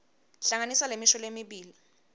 hlanganisa lemisho lemibili